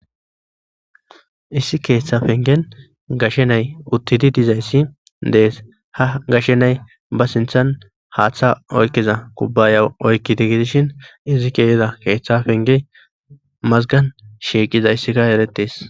Issi keeththa pengen gashe na'ay uttidi dizayssi de'es; ha gashe na'ay ba sinththan haaththa oykkiza kubbaya oykidi gidishin izi ke'ida keeththa pengen mazgan shiiqizayssika eretees.